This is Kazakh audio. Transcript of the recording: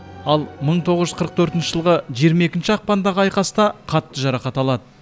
ал мың тоғыз жүз қырық төртінші жылғы жиырма екінші ақпандағы айқаста қатты жарақат алады